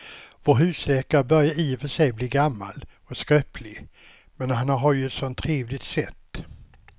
Vår husläkare börjar i och för sig bli gammal och skröplig, men han har ju ett sådant trevligt sätt!